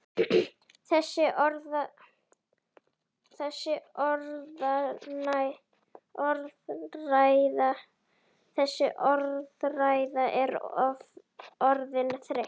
Þessi orðræða er orðin þreytt!